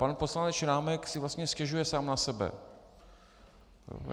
Pan poslanec Šrámek si vlastně stěžuje sám na sebe.